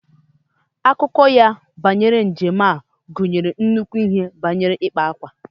Akụkọ ya banyere njem ya gụnyere nnukwu ihe banyere ikpa ákwà